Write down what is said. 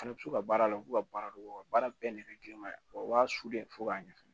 Fana bɛ to ka baara la u b'u ka baara dogo u ka baara bɛɛ nɛgɛ girinma o b'a su dɛ fo k'a ɲɛ fɛnɛ